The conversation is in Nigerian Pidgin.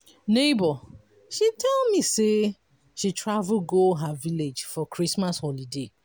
nebor she tell me sey she travel go her village for christmas holiday.